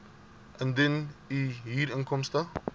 indien u huurinkomste